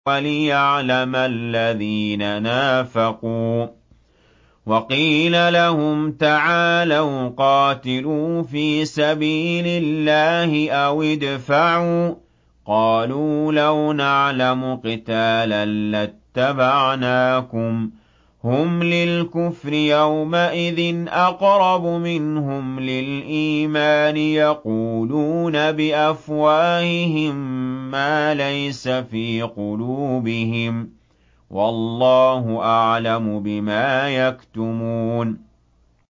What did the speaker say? وَلِيَعْلَمَ الَّذِينَ نَافَقُوا ۚ وَقِيلَ لَهُمْ تَعَالَوْا قَاتِلُوا فِي سَبِيلِ اللَّهِ أَوِ ادْفَعُوا ۖ قَالُوا لَوْ نَعْلَمُ قِتَالًا لَّاتَّبَعْنَاكُمْ ۗ هُمْ لِلْكُفْرِ يَوْمَئِذٍ أَقْرَبُ مِنْهُمْ لِلْإِيمَانِ ۚ يَقُولُونَ بِأَفْوَاهِهِم مَّا لَيْسَ فِي قُلُوبِهِمْ ۗ وَاللَّهُ أَعْلَمُ بِمَا يَكْتُمُونَ